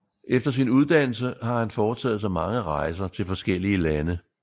Efter sin uddannelse har han fortaget sig mange rejser til forskellige lande